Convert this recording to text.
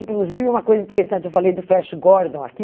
Inclusive, uma coisa interessante, eu falei do Flash Gordon aqui.